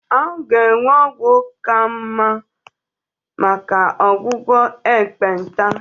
A ga-enwe ọgwụ ndị ka mma maka ọgwụgwọ ekpenta